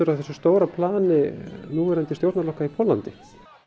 af þessu stóra plani núverandi stjórnarflokka í Póllandi